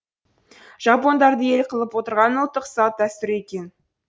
жапондарды ел қылып отырған ұлттық салт дәстүр екен